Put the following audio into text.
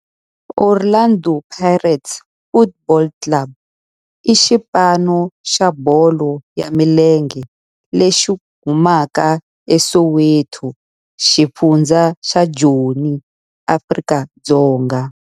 Orlando Pirates Football Club i xipano xa bolo ya milenge lexi humaka eSoweto, xifundzha xa Joni, Afrika-Dzonga.